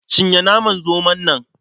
Cinye naman zomon nan.